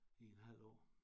I en halv år